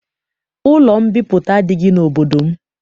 Ụlọ mbipụta adịghị n'obodo m.